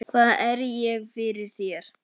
Hvað er ég fyrir þér?